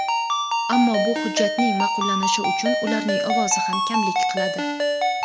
ammo bu hujjatning ma’qullanishi uchun ularning ovozi ham kamlik qiladi.